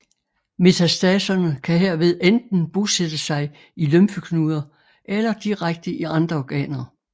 Metastaserne kan herved enten bosætte sig i lymfeknuder eller direkte i andre organer